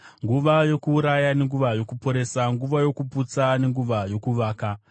nguva yokuuraya nenguva yokuporesa, nguva yokuputsa nenguva yokuvaka;